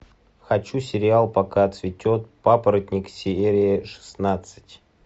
хочу сериал пока цветет папоротник серия шестнадцать